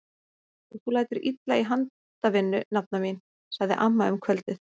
Og þú lætur illa í handavinnu nafna mín! sagði amma um kvöldið.